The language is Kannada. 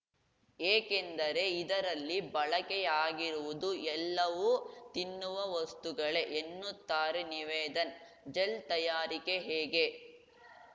ಏಕೆಂದರೆ ಇದರಲ್ಲಿ ಬಳಕೆಯಾಗಿರುವುದು ಎಲ್ಲವೂ ತಿನ್ನುವ ವಸ್ತುಗಳೇ ಎನ್ನುತ್ತಾರೆ ನಿವೇದನ್‌ ಜೆಲ್‌ ತಯಾರಿಕೆ ಹೇಗೆ